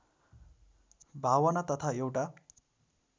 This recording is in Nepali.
भावना तथा एउटा